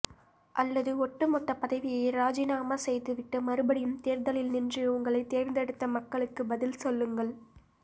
அல்லது ஒட்டுமொத்த பதவியை ராஜினாமா செய்துவிட்டு மறுபடியும் தேர்தலில் நின்று உங்களை தேர்ந்தெடுத்த மக்களுக்கு பதில் சொல்லுங்கள்